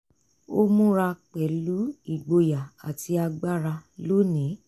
ó múra pẹ̀lú igboyà àti agbára lónìí